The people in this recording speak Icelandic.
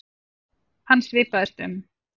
Hann svipaðist um.